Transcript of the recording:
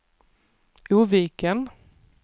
Oviken